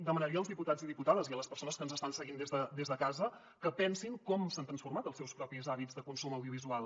demanaria als diputats i diputades i a les persones que ens estan seguint des de casa que pensin com s’han transformat els seus propis hàbits de consum audiovi·sual